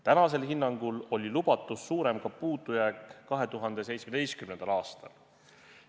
Praegusel hinnangul oli lubatust suurem ka puudujääk 2017. aastal.